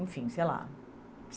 Enfim, sei lá.